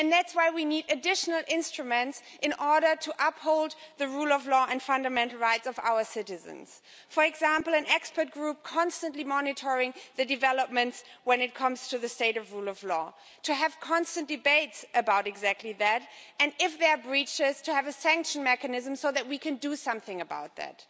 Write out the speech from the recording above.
That is why we need additional instruments in order to uphold the rule of law and fundamental rights of our citizens for example, an expert group constantly monitoring developments when it comes to the state of the rule of law, to have constant debates about exactly that and if there are breaches, to have a sanction mechanism so that we can do something about that.